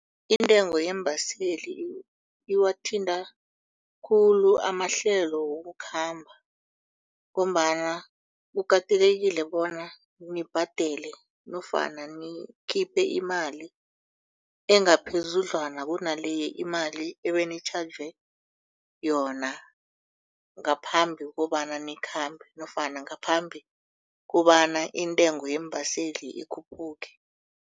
Intengo yeembaseli iwathinta khulu amahlelo wokukhamba. Ngombana kukatelelekile bona nibhadele nofana nikhiphe imali engaphezudlwana kunale imali ebenitjhajwe ngaphambi kobana nikhambe nofana ngaphambi kobana intengo yeembaseli ikhuphuke.